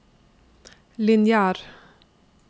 lineær